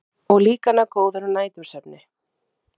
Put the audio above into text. Og líka ná góðum nætursvefni.